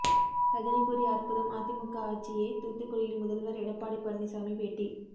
ரஜினி கூறிய அற்புதம் அதிமுக ஆட்சியே தூத்துக்குடியில் முதல்வர் எடப்பாடி பழனிசாமி பேட்டி